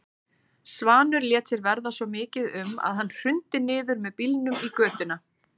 Svanur lét sér verða svo mikið um að hann hrundi niður með bílnum í götuna.